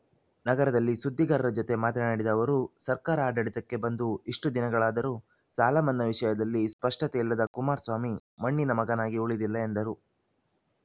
ನಗರದಲ್ಲಿ ಸುದ್ದಿಗಾರರ ಜತೆ ಮಾತನಾಡಿದ ಅವರು ಸರ್ಕಾರ ಆಡಳಿತಕ್ಕೆ ಬಂದು ಇಷ್ಟುದಿನಗಳಾದರೂ ಸಾಲಮನ್ನಾ ವಿಷಯದಲ್ಲಿ ಸ್ಪಷ್ಟತೆ ಇಲ್ಲದ ಕುಮಾರಸ್ವಾಮಿ ಮಣ್ಣಿನ ಮಗನಾಗಿ ಉಳಿದಿಲ್ಲ ಎಂದರು